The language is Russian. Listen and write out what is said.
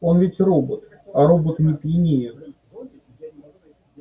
он ведь робот а роботы не пьянеют